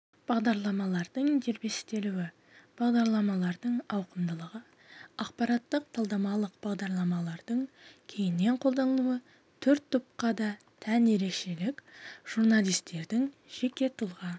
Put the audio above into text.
бағдарламалардың дербестелуі бағдарламалардың ауқымдылығы ақпараттық-талдамалық бағдарламалардың кеңінен қолданылуы төрт топқа да тән ерекшелік журналистердің жеке тұлға